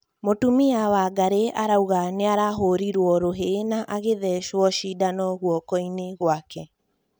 Mũtumia Wangari arauga nĩahũrĩrwo rũhĩ na agĩthecwo cindano gũoko-inĩ gwake